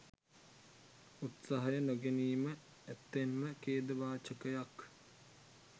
උත්සාය නොගැනිම ඇත්තෙන්ම ඛේදවාචකයක්.